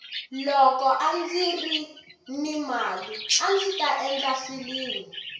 loko andziri ni mali andzi ta endla filimi